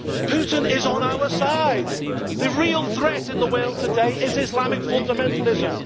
Putin is on our side. The real threat in the world today is Islamic fundamentalism.